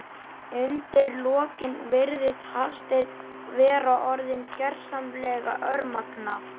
Undir lokin virðist Hafsteinn vera orðinn gersamlega örmagna.